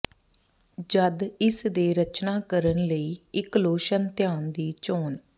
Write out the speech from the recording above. ਜਦ ਇਸ ਦੇ ਰਚਨਾ ਕਰਨ ਲਈ ਇੱਕ ਲੋਸ਼ਨ ਧਿਆਨ ਦੀ ਚੋਣ